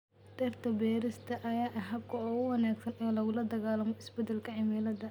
Dhirta beerista ayaa ah habka ugu wanaagsan ee lagula dagaalamo isbedelka cimilada.